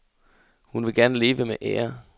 Hun vil gerne leve med ære.